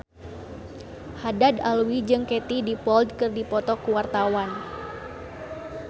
Haddad Alwi jeung Katie Dippold keur dipoto ku wartawan